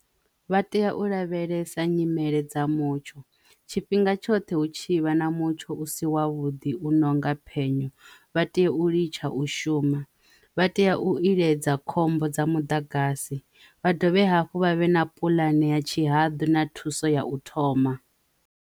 Vha tea u lavhelesa nyimele dza mutsho tshifhinga tshoṱhe hu tshivha na mutsho u si wa vhuḓi u nonga penya vha tea u litsha u shuma vha tea u iledza khombo dza mudagasi vha dovhe hafhu vha vhe na puḽane ya tshihadu na thuso ya u thoma.